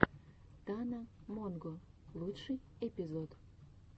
тана монго лучший эпизод